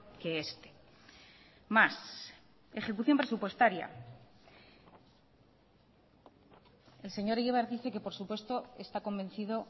que este más ejecución presupuestaria el señor egibar dice que por supuesto está convencido